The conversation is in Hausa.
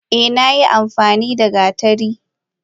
Eh ina amfanida gatari.